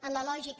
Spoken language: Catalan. en la lògica